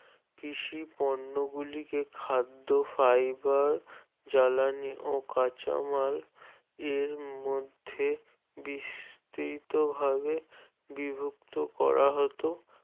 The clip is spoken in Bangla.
কৃষি পণ্য গুলোকে খাদ্য Fiber জ্বালানী ও কাঁচামালের মধ্যে বিস্তৃত ভাবে বিভক্ত করা হতো